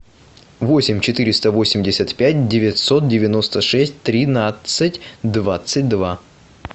восемь четыреста восемьдесят пять девятьсот девяносто шесть тринадцать двадцать два